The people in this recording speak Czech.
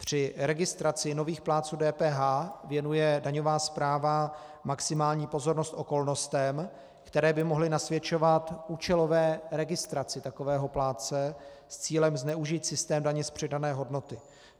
Při registraci nových plátců DPH věnuje daňová správa maximální pozornost okolnostem, které by mohly nasvědčovat účelové registraci takového plátce s cílem zneužít systém daně z přidané hodnoty.